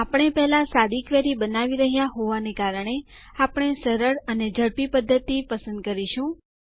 આપણે પહેલા સાદી ક્વેરી બનાવી રહ્યા હોવાને કારણે આપણે સરળ અને ઝડપી પદ્ધતિ પસંદ કરીશું